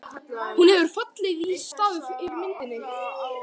Hún hefur fallið í stafi yfir myndinni.